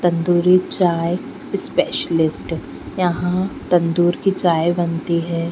तंदूरी चाय स्पेशलिस्ट यहाँ तंदूर की चाय बनती है।